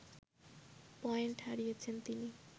point হারিয়েছেন তিনি